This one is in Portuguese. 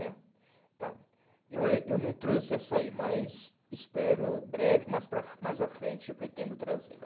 né Então, eu ain eu não trouxe essa aí, mas espero breve, mais para a mais à frente eu pretendo trazê-la.